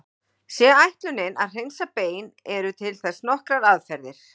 Sé ætlunin að hreinsa bein eru til þess nokkrar aðferðir.